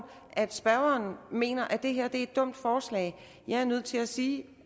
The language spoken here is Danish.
at spørgeren mener at det her er et dumt forslag jeg er nødt til at sige